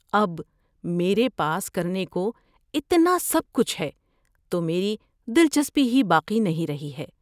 اب، میرے پاس کرنے کو اتنا سب کچھ ہے تو میری دلچسپی ہی باقی نہیں رہی ہے۔